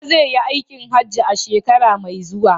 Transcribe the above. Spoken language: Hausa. Baba zai yi aikin hajji a shekara mai zuwa.